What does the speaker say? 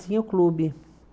Tinha o clube.